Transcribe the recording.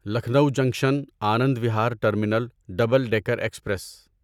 Lucknow junction Anand Vihar terminal double decker express